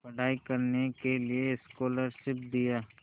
पढ़ाई करने के लिए स्कॉलरशिप दिया